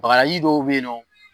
Bagaji dɔw be yen nɔ